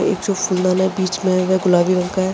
इस मे गुलाबी रंग का --